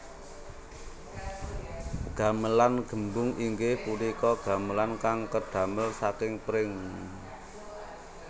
Gamelan gembung inggih punika gamelan kang kedamel saking pring